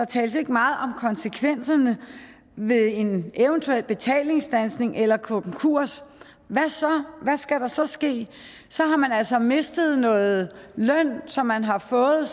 tales ikke meget om konsekvenserne ved en eventuel betalingsstandsning eller konkurs hvad så hvad skal der så ske så har man altså mistet noget løn som man har fået i